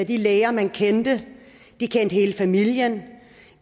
de læger man kendte de kendte hele familien